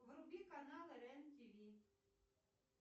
вруби каналы рен тв